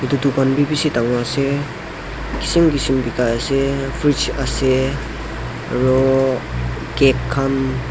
etu kan bi bishi dangor ase kisim kisim bekai ase fridge ase aro cake khan.